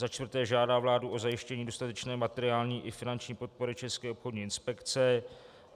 Za čtvrté žádá vládu o zajištění dostatečné materiální i finanční podpory České obchodní inspekce.